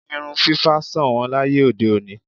Irun fífá ṣọ̀nwọ́n láyé òde òní.